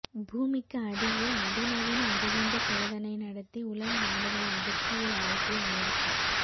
பூமிக்கு அடியில் அதிநவீன அணுகுண்டு சோதனை நடத்தி உலக நாடுகளை அதிர்ச்சியில் ஆழ்த்திய அமெரிக்கா